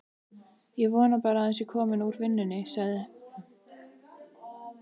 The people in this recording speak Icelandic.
Ég vona bara að hann sé kominn úr vinnunni, hann.